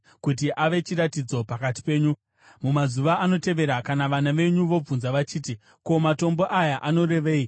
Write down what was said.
kuti ave chiratidzo pakati penyu. Mumazuva anotevera kana vana venyu vobvunza vachiti, ‘Ko, matombo aya anorevei?’